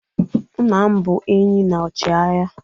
nna m bụ enyi na ọchịagha